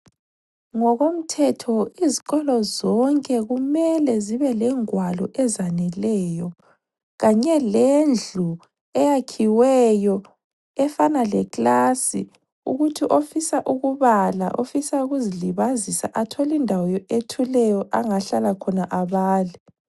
Ngokomthetho izikolo zonke kumele zibe lengwalo ezaneleyo kanye lendlu eyakhiweyo efana leclass ukuthi ofisa ukubala, ofisa ukuzilibazisa athole indawo ethuleyo angahlala khona abale.